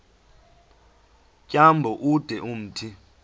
tyambo ude umthi